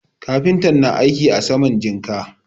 Kafintan na aiki a saman jinka.